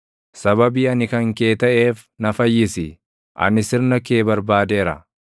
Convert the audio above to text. Sababii ani kan kee taʼeef na fayyisi; anis sirna kee barbaadeera.